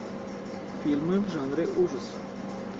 фильмы в жанре ужасы